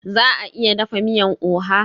Za a iya dafa miyan oha?